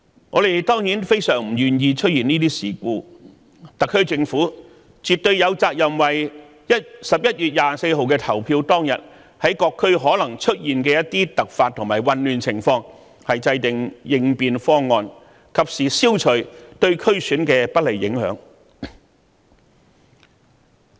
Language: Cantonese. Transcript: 我們當然非常不願見出現這些事故，特區政府絕對有責任為11月24日投票當日，各區可能出現的一些突發和混亂情況制訂應變方案，及時消除對選舉的不利影響。